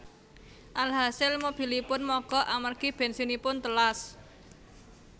Alhasil mobilipun mogok amargi bènsinipun telas